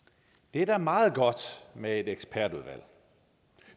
det er da meget godt med et ekspertudvalg